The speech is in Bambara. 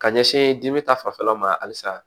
Ka ɲɛsin dimi ta fanfɛla ma halisa